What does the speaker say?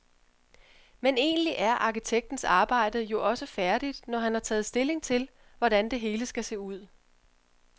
Men egentlig er arkitektens arbejde jo også færdigt, når han har taget stilling til, hvordan det hele skal se ud.